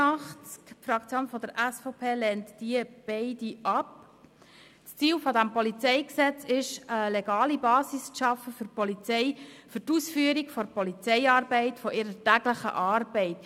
Das Ziel des PolG ist es, der Polizei eine legale Basis für die Ausübung von Polizeiarbeit zu schaffen, für die Ausübung ihrer täglichen Arbeit.